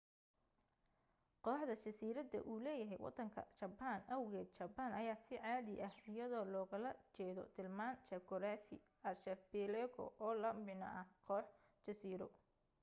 kooxda jasiirada uu leeyahay wadanka jaban awgeed jabaan ayaa si cadi ah iyadoo loogala jeedo tilmaan juquraafi archipelago oo la micna ah koox jasiiro